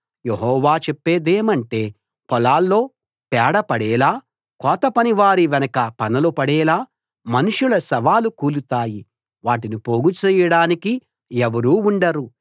యెహోవా చెప్పేదేమంటే పొలాల్లో పేడ పడేలా కోతపనివారి వెనక పనలు పడేలా మనుషుల శవాలు కూలుతాయి వాటిని పోగు చేయడానికి ఎవరూ ఉండరు